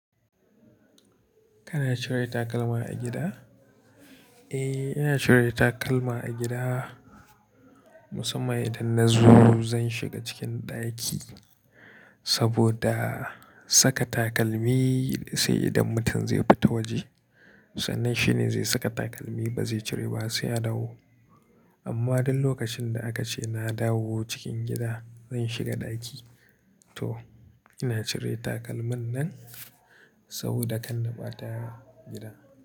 Kana cire takalma a gida? Eh, ina cire takalma a gida. Musamman idan na zo zan shiga cikin ɗaki saboda saka takalmi sai idan mutum zai fita waje. Sannan shine zai saka takalmi ba zai cire ba sai ya dawo. Amma duk lokacin da aka ce na dawo cikin gida, zan shiga ɗaki. To ina cire takalman nan saboda kan na ɓata a gida.